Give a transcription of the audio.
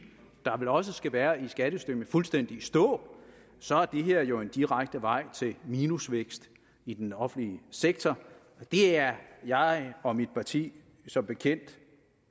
der vel også skal være i skattesystemet fuldstændig i stå så er det her jo en direkte vej til minusvækst i den offentlige sektor det er jeg og mit parti som bekendt